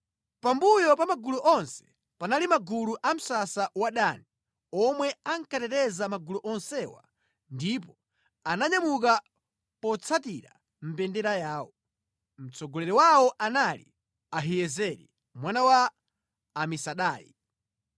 Pambuyo pa magulu onse panali magulu a msasa wa Dani, omwe ankateteza magulu onsewa ndipo ananyamuka potsatira mbendera yawo. Mtsogoleri wawo anali Ahiyezeri mwana wa Amisadai.